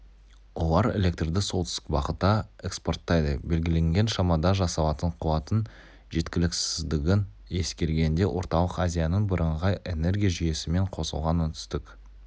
олар электрді солтүстік бағытта экспорттайды белгіленген шамада жасалатын қуаттың жеткіліксіздігін ескергенде орталық азияның бірыңғай энергия жүйесімен қосылған оңтүстік